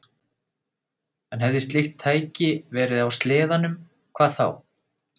En hefði slíkt tæki verið á sleðanum, hvað þá?